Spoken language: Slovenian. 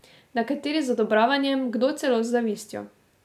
Nekateri z odobravanjem, kdo celo z zavistjo.